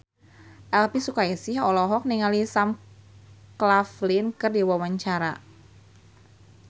Elvy Sukaesih olohok ningali Sam Claflin keur diwawancara